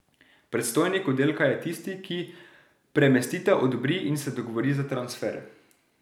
Predstojnik oddelka je tisti, ki premestitev odobri in se dogovori za transfer.